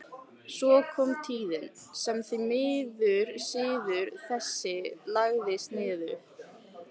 Svo kom tíðin sem því miður siður þessi lagðist niður.